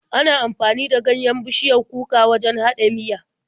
Ana amfani da ganyen bishiyar kuka wajen haɗa miya.